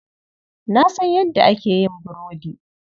Na san yadda ake yin burudi.